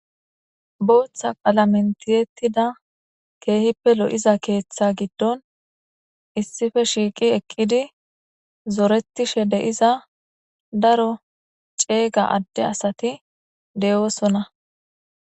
Booththa qalamen tihetida kehippe lo'iza keeththa gidonn issippe shiq eqidi zoretishshe de"iza daaro cega ade asati de'osonna